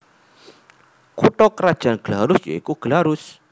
Kutha krajan Glarus ya iku Glarus